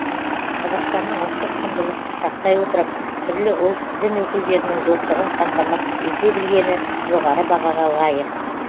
қазақстанның ұлттық құндылықты сақтай отырып түрлі ұлт дін өкілдерінің достығын қамтамасыз ете білгені жоғары бағаға лайық